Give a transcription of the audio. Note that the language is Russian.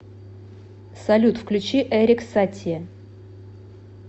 салют включи эрик сати